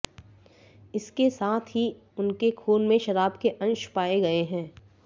इसके साथ ही उनके खून में शराब के अंश पाए गए हैं